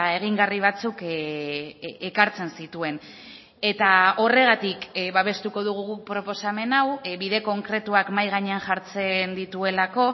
egingarri batzuk ekartzen zituen eta horregatik babestuko dugu guk proposamen hau bide konkretuak mahai gainean jartzen dituelako